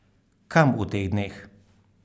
Kam v teh dneh?